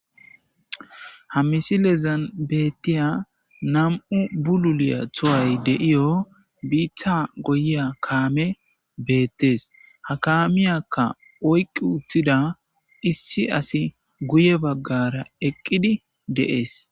Ha misilezan beettiya nam,e bululiya tuway deiyo biitha goyiya kaame beettes ha kaamiyakka oyqqi uttida issi asi guye baggara eqqidi deees.